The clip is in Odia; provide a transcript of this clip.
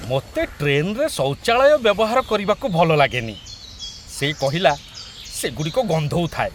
"ମୋତେ ଟ୍ରେନରେ ଶୌଚାଳୟ ବ୍ୟବହାର କରିବାକୁ ଭଲଲାଗେନି", ସେ କହିଲା, "ସେଗୁଡ଼ିକ ଗନ୍ଧଉଥାଏ ।"